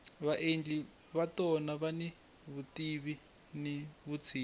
vaendli va tona vani vutivi ni vutshila